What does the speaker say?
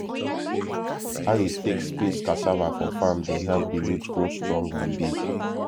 how you take space cassava for farm dey help the root grow strong and big